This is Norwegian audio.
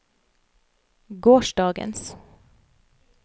gårsdagens